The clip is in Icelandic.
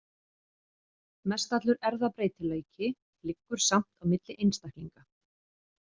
Mestallur erfðabreytileiki liggur samt á milli einstaklinga.